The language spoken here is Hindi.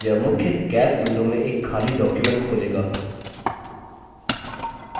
यह मुख्य calc window में एक खाली document खोलेगा